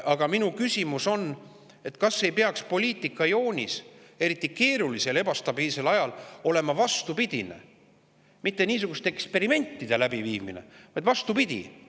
Aga minu küsimus on, et kas ei peaks poliitikajoonis, eriti keerulisel ebastabiilsel ajal, olema vastupidine, mitte niisuguste eksperimentide läbiviimine, vaid vastupidi.